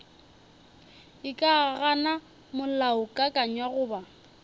e ka gana molaokakanywa goba